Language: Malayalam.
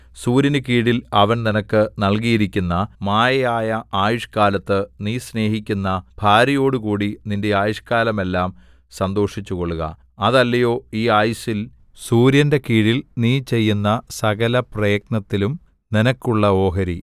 സൂര്യനുകീഴിൽ അവൻ നിനക്ക് നല്കിയിരിക്കുന്ന മായയായ ആയുഷ്കാലത്ത് നീ സ്നേഹിക്കുന്ന ഭാര്യയോടുകൂടി നിന്റെ ആയുഷ്കാലമെല്ലാം സന്തോഷിച്ചുകൊൾക അതല്ലയോ ഈ ആയുസ്സിൽ സൂര്യന്റെ കീഴിൽ നീ ചെയ്യുന്ന സകലപ്രയത്നത്തിലും നിനക്കുള്ള ഓഹരി